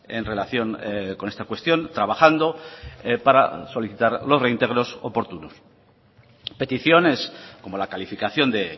en relación con esta cuestión trabajando para solicitar los reintegros oportunos peticiones como la calificación de